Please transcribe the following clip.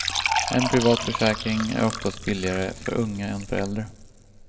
En privat försäkring är oftast billigare för unga än för äldre.